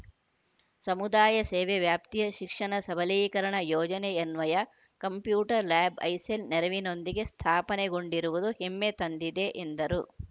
ಸಮುದಾಯಸೇವೆ ವ್ಯಾಪ್ತಿಯ ಶಿಕ್ಷಣ ಸಬಲೀಕರಣ ಯೋಜನೆಯನ್ವಯ ಕಂಪ್ಯೂಟರ್‌ ಲ್ಯಾಬ್‌ ಐಸೆಲ್‌ ನೆರವಿನೊಂದಿಗೆ ಸ್ಥಾಪನೆಗೊಂಡಿರುವುದು ಹೆಮ್ಮೆ ತಂದಿದೆ ಎಂದರು